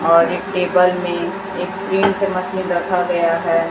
और एक पेपर में एक इंक मशीन रखा गया है।